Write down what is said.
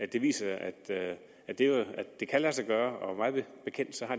det viser at det kan lade sig gøre og mig bekendt har